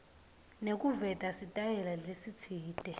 nekuveta sitayela lesitsite